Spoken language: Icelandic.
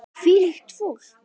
Hvílíkt fólk!